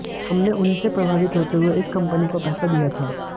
हम उन्हीं से प्रभावित होते हुए इस कंपनी को पैसा दिया था